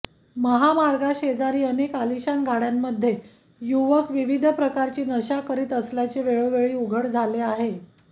महामार्गाशेजारी अनेक आलीशान गाडय़ामधे युवक विविध प्रकारची नशा करीत असल्याचे वेळोवेळी उघड झाले आहे